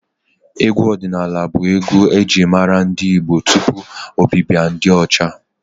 Egwu ọdịnaala bụ egwu e ji mara ndị Igbo tupu ọbịbịa ndị ọcha.